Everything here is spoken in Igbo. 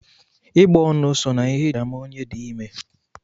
Ịgbọonu so na ihe e ji ama onye di ime